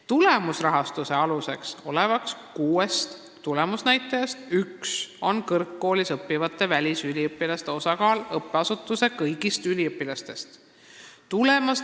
Tulemusrahastuse aluseks olevast kuuest tulemusnäitajast üks on kõrgkoolis õppivate välisüliõpilaste osakaal õppeasutuse kõigi üliõpilaste hulgas.